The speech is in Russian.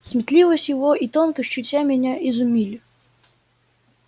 сметливость его и тонкость чутья меня изумили